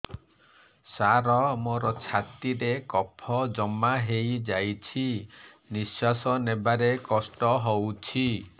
ସାର ମୋର ଛାତି ରେ କଫ ଜମା ହେଇଯାଇଛି ନିଶ୍ୱାସ ନେବାରେ କଷ୍ଟ ହଉଛି